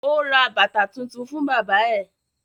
Ó ra bàtà tuntun fún bábà ẹ̀